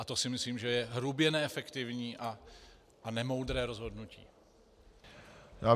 A to si myslím, že je hrubě neefektivní a nemoudré rozhodnutí.